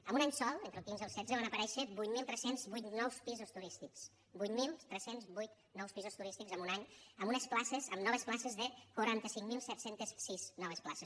en un any sol entre el quinze i el setze van aparèixer vuit mil tres cents i vuit nous pisos turístics vuit mil tres cents i vuit nous pisos turístics en un any amb noves places de quaranta cinc mil set cents i sis noves places